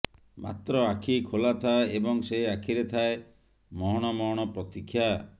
ମାତ୍ର ଆଖି ଖୋଲାଥାଏ ଏବଂ ସେ ଆଖିରେ ଥାଏ ମହଣ ମହଣ ପ୍ରତୀକ୍ଷା